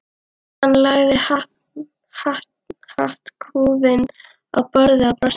Hann lagði hattkúfinn á borðið og brosti líka.